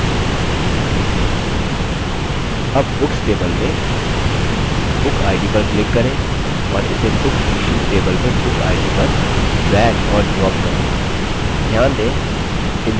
अब books table में book id पर click करें और इसे books issued table में book id पर drag और drop करें